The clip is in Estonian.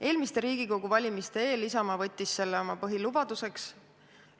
Eelmiste Riigikogu valimiste eel võttis Isamaa selle oma põhilubaduseks.